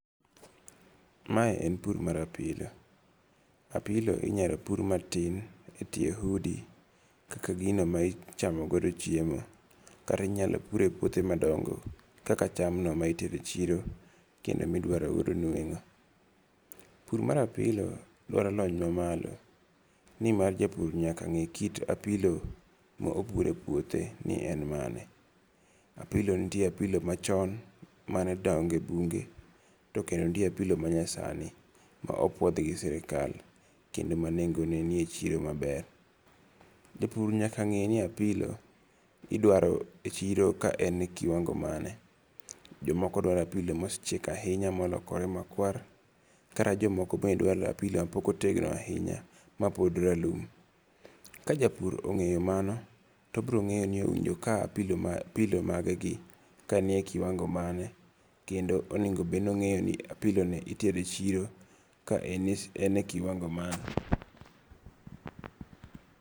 Mae en pur mar apilo. Apilo inyalo pur matin e tie udi kaka gino ma ichamo godo chiemo kata inyalo pure e puthe madongo kaka cham no ma itero e chiro kendo midwaro godo nweng'o. Pur mar apilo dwaro lony mamalo. Ni mar japur nyak ng'e kit apilo ma opuro e puothe ni en mane. Apilo nitie apilo machon mane dongo e bunge to kendo nitie apilo ma nyasani ma opuodh gi sirikal kendo ma neng'o ne ni e chiro maber. Japur nyaka ng'e ni apilo idwaro e chiro ka en e kiwango mane. Jomoko dwaro apilo mosechiek ahinya molokore makwar. Kata jomoko be dwaro apilo ma pok otegno ahinya ma pod ralum. Ka japur ong'eyo mano, to obiro ng'eyo ni owinjo ka apilo magegi ka ni ekiwango mane kendo onego bed ni ong'eyo ni apilo ni itero e chiro ka en e kiwango mane?